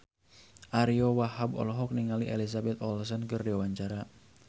Ariyo Wahab olohok ningali Elizabeth Olsen keur diwawancara